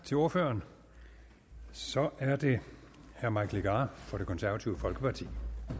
til ordføreren så er det herre mike legarth fra det konservative folkeparti